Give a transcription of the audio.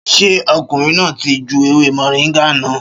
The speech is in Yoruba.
Ṣé ọkùnrin náà ti ju ewé Moringa náà?